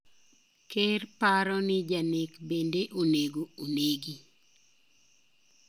Ker paro ni janek bende onego onegi.